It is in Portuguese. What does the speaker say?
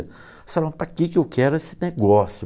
Você fala, mas para que eu quero esse negócio?